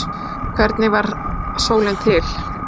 Hvernig varð sólin til?